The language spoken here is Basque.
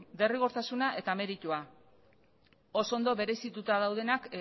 derrigortasuna eta meritua oso ondo berezituta daudenak